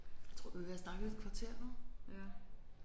Jeg tror vi er ved at have snakket i et kvarter nu